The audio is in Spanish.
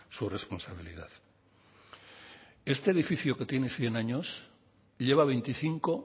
su responsabilidad este edificio que tiene cien años lleva veinticinco